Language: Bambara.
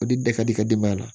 O de da ka di i ka denbaya la